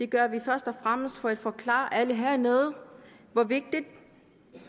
gør vi først og fremmest for at forklare alle hernede hvor vigtigt